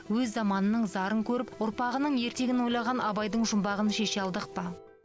өз заманының зарын көріп ұрпағының ертеңін ойлаған абайдың жұмбағын шеше алдық па